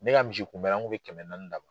Ne ka misi kunbɛnn, an kun be kɛmɛ naani d'a ma.